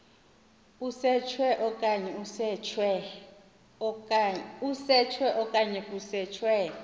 usetshwe okanye kusetshwe